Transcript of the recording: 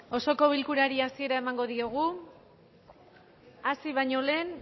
osoko bilkurari hasiera emango diogu hasi baino lehen